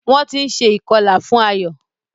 wón tí nṣe ikọla fún Ayo.